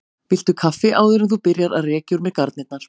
Viltu kaffi áður en þú byrjar að rekja úr mér garnirnar?